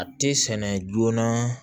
A tɛ sɛnɛ joona